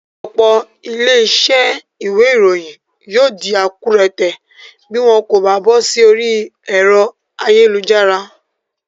Òpò ilé isé ìwé ìròyìn yio dí akúrẹtẹ̀ bi wón kò ba bósí orí èro ayélujára